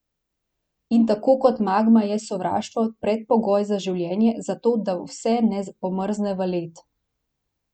In tako kot magma je sovraštvo predpogoj za življenje, zato da vse ne pomrzne v led.